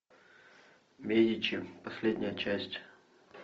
медичи последняя часть